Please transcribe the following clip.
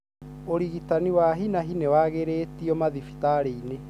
Urigitani wa hinahi nĩ wagĩrĩtio madhibitarĩinĩ.